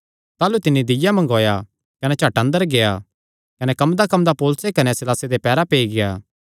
ताह़लू तिन्नी दीय्या मंगवाया कने झट अंदर गेआ कने कम्मदाकम्मदा पौलुसे कने सीलासे दे पैरां पेई गेआ